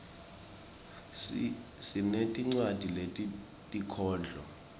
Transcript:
sinetinwadzi tetinkhondlo